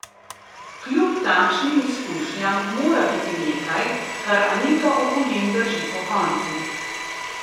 Kljub takšnim izkušnjam mora biti nekaj, kar Anito Ogulin drži pokonci.